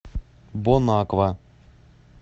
бонаква